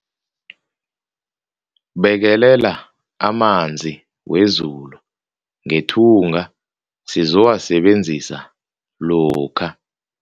Bekelela amanzi wezulu ngethunga sizowasebenzisa lokha.